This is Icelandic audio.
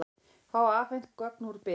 Fá afhent gögn úr Byr